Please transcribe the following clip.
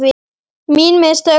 Mín mistök?